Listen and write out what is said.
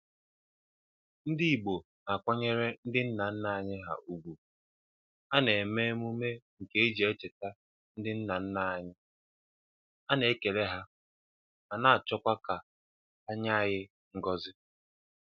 Ndị Igbo na-akwanyere ndị nna nna ha ugwu: A na-eme emume nke iji cheta ndị nna nna anyị, a na-ekele ha, ma a na-achọkwa ka ha nye anyị ngọzi.